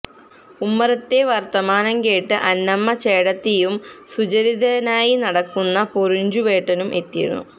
ഉമ്മറത്തെ വര്ത്തമാനം കേട്ട് അന്നമ്മ ചേടത്തിയും സുചരിചിതനായി നടക്കുന്ന പൊറിഞ്ചുവേട്ടനും എത്തിയിരുന്നു